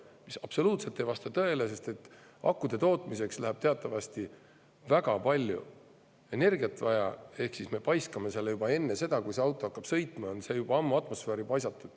See ei vasta absoluutselt tõele, sest akude tootmiseks läheb teatavasti väga palju energiat vaja ehk me paiskame CO2 atmosfääri juba enne, kui see auto sõitma hakkab.